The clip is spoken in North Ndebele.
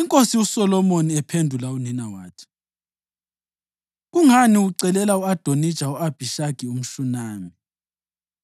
INkosi uSolomoni ephendula unina wathi, “Kungani ucelela u-Adonija u-Abhishagi umShunami?